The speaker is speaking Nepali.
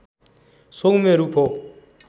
सौम्य रूप हो